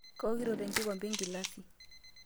Kaokito tenkikombe engilasi.